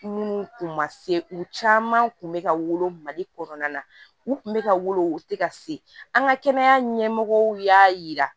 Minnu kun ma se u caman kun bɛ ka wolo mali kɔnɔna na u kun bɛ ka wolo u tɛ ka se an ka kɛnɛya ɲɛmɔgɔw y'a yira